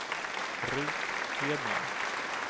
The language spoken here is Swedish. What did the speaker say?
Ruth Hedman